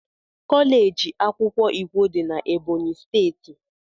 kọleji akwukwo ikwo dị na Ebọnyị steeti.